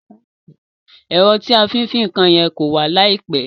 Èro tí a fí n fin nkan ye kó wà láìpe